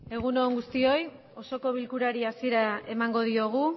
egun on guztioi osoko bilkurari hasiera emango diogu